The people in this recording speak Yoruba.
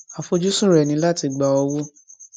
àfojúsùn rẹ ni láti gba owó